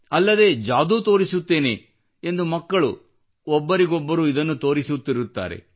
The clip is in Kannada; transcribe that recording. ಅಲ್ಲದೆ ಜಾದೂ ತೋರಿಸುತ್ತೇನೆ ಎಂದು ಮಕ್ಕಳು ಒಬ್ಬರಿಗೊಬ್ಬರು ಇದನ್ನು ತೋರಿಸುತ್ತಿರುತ್ತಾರೆ